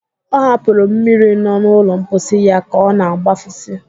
Ọ hapụrụ mmiri nọ n'ụlọ mposi ya ka ọna-agbafusi